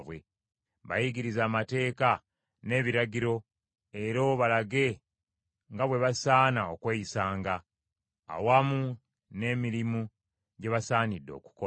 Bayigirize amateeka n’ebiragiro, era obalage nga bwe basaana okweyisanga, awamu n’emirimu gye basaanidde okukola.